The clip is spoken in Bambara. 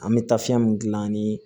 An bɛ taa fiyɛn min dilan ni